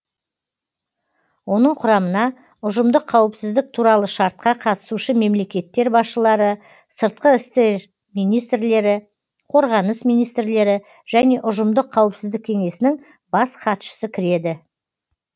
оның құрамына ұжымдық қауіпсіздік туралы шартқа қатысушы мемлекеттер басшылары сыртқы істер министрлері қорғаныс министрлері және ұжымдық қауіпсіздік кеңесінің бас хатшысы кіреді